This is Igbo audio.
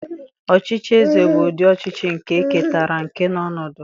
Ọchịchị eze bụ ụdị ọchịchị nke e ketara ike na ọnọdụ.